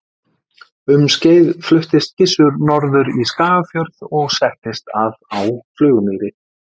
Um skeið fluttist Gissur norður í Skagafjörð og settist að á Flugumýri.